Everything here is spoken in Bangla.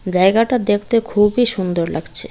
জায়গাটা দ্যাকতে খুবই সুন্দর লাগছে।